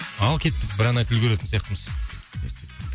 ал кеттік бір ән айтып үлгеретін сияқтымыз